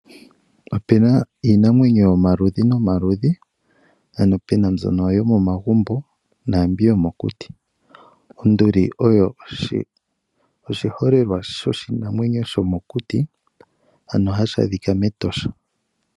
Opuna iinamwenyo yomaludhi nomaludhi , ano puna mbyono yomomagumbo nambi yomokuti . Onduli oyo oshiholelwa shomokuti , ano hashi adhika mEtosha National Park.